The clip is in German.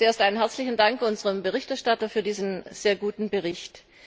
Zuerst einen herzlichen Dank an unseren Berichterstatter für diesen sehr guten Bericht.